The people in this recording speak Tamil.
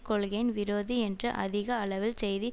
கொள்கையின் விரோதி என்று அதிக அளவில் செய்தி